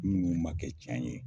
Minnu ma kɛ cɛn ye.